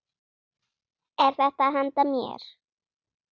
Er þetta handa mér?!